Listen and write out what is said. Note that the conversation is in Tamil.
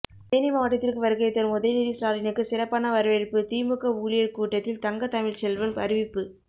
தேனி மாவட்டத்திற்கு வருகை தரும் உதயநிதி ஸ்டாலினுக்கு சிறப்பான வரவேற்பு திமுக ஊழியர் கூட்டத்தில் தங்கதமிழ்ச்செல்வன் அறிவிப்பு